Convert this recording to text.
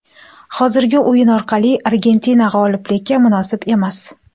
Hozirgi o‘yin orqali Argentina g‘oliblikka munosib emas.